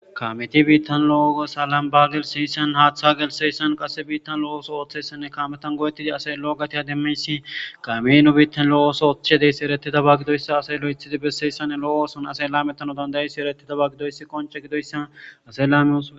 kameti biittan lo7oga salambaagel siyisan haaththagel seyssan qass biittan lo7oooso ooththesenne kametan go7etidi asey lo7ogati hademmeyssi kaminu biittan lo7oooso ooththe deyssi ereti dabagidoyssa asey lo7 ithidi besseyssane lo7oooson ase la metano dandayassi ereti dabagidoyssi qonce gidoyssan ase laamiosae